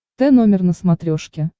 т номер на смотрешке